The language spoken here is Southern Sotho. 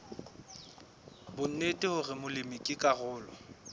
bonnete hore molemi ke karolo